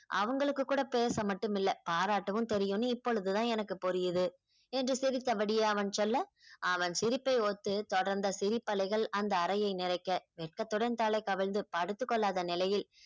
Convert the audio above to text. அவங்களுக்கும் கூட பேச மட்டும் இல்ல பாராட்டவும் தெரியும் இப்பொழுது தான் எனக்கு புரியுது என்று சிரித்தபடியே அவன் சொல்ல அவன் சிரிப்பை ஒத்து தொடர்ந்த சிரிப்பு அலைகள் அந்த அறையை நிறைக்க வெட்கத்துடன் தலை கவிழ்ந்து படுத்துக் கொள்ளாத நிலையில்